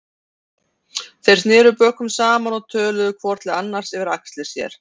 Þeir sneru bökum saman og töluðu hvor til annars yfir axlir sér.